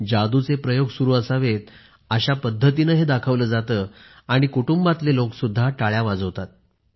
जादूचे प्रयोग सुरू असावेत अशा पद्धतीने हे दाखवले जाते आणि कुटुंबातले लोक सुद्धा टाळ्या वाजवतात